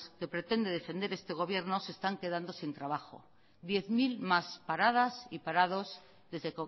que pretende defender este gobierno se están quedando sin trabajo diez mil más paradas y parados desde